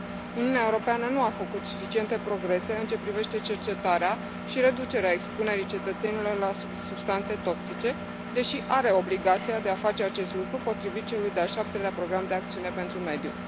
Uniunea Europeană nu a făcut suficiente progrese în ceea ce privește cercetarea și reducerea expunerii cetățenilor la substanțe toxice, deși are obligația de a face acest lucru potrivit celui de Al șaptelea program de acțiune pentru mediu.